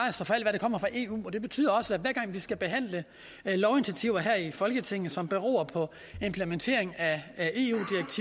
kommer fra eu og det betyder også at hver gang vi skal behandle lovinitiativer her i folketinget som beror på implementering af